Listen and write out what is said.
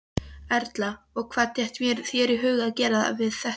Erla: Og hvernig datt þér í hug að gera þetta?